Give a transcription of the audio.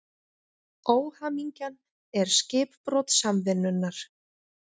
Óhamingjan er skipbrot samvinnunnar.